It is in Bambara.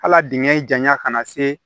Hal'a dingɛ janya kana se